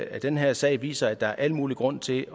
at den her sag viser at der er al mulig grund til